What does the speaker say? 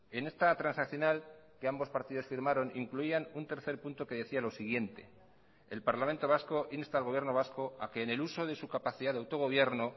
en esta transaccional que ambos partidos firmaron incluían un tercer punto que decía lo siguiente el parlamento vasco insta al gobierno vasco a que en el uso de su capacidad de autogobierno